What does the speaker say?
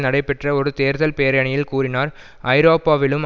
நடைபெற்ற ஒரு தேர்தல் பேரணியில் கூறினார் ஐரோப்பாவிலும்